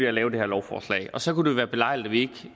at lave det her lovforslag og så kunne det være belejligt at vi